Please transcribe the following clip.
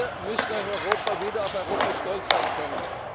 können. Wir müssen als Europa wieder auf Europa stolz sein